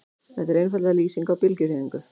Þetta er einfaldlega lýsing á bylgjuhreyfingu.